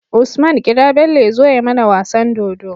Usman kira Bello yazo ya mAna wasan dodo